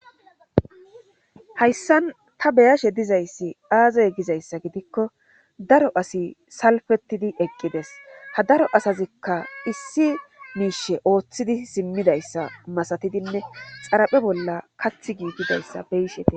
Hayssan ta beyashe dizayssi aazaye gizayssa gidikko daro asi salfetidi eqqides ha daro asazikka issi miishe ooththidi simmidayssa masatidinne xaraphe bolla kath giigidayssa beyishete